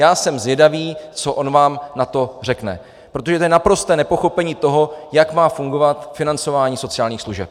Já jsem zvědavý, co on vám na to řekne, protože to je naprosté nepochopení toho, jak má fungovat financování sociálních služeb.